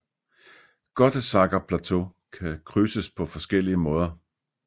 Gottesackerplateau kan krydses på forskellige måder